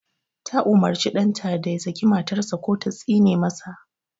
Ta umurci ɗanta da ya saki matar sa ko ta tsine ma sa